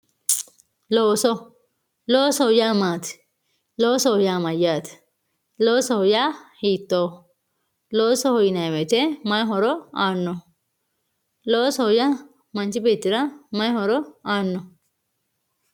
looso loosoho yaa maati loosoho yaa mayyaate loosoho yaa hiittooho loosoho yinayi woyite may horo aannoho loosoho yaa manchi beettira may horo aanno